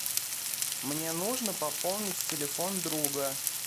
мне нужно пополнить телефон друга